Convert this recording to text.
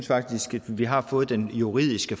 faktisk at vi har fået den juridiske